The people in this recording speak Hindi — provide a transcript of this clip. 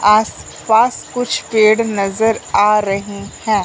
आसपास कुछ पेड़ नजर आ रहे हैं।